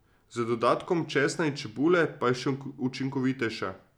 Z dodatkom česna in čebule pa je še učinkovitejša.